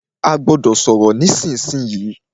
A gbọ́dọ̀ sọ̀rọ̀ nísìsiyìí!